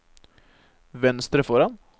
venstre foran